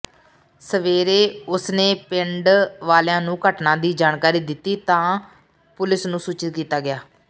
ਸਵੇਰੇ ਉਸਨੇ ਪਿੰਡ ਵਾਲਿਆਂ ਨੂੰ ਘਟਨਾ ਦੀ ਜਾਣਕਾਰੀ ਦਿੱਤੀ ਤਾਂ ਪੁਲਸ ਨੂੰ ਸੂਚਿਤ ਕੀਤਾ ਗਿਆ